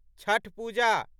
Chhath Puja